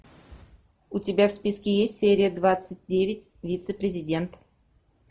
у тебя в списке есть серия двадцать девять вице президент